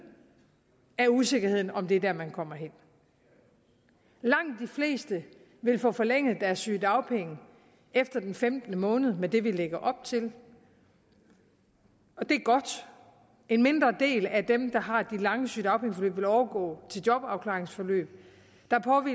af usikkerheden om om det er der man kommer hen langt de fleste vil få forlænget deres sygedagpenge efter den femte måned med det vi lægger op til og det er godt en mindre del af dem der har de lange sygedagpengeforløb vil overgå til jobafklaringsforløb